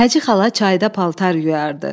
Həci xala çayda paltar yuyardı.